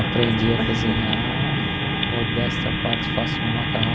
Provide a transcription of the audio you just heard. Aprendi a cozinhar, modéstia à parte, faço um macarrão